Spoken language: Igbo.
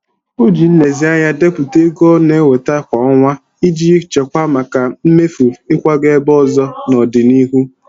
O ji nlezianya depụta ego ọ na-enweta kwa ọnwa iji chekwaa maka mmefu ịkwaga ebe ọzọ n'ọdịnihu.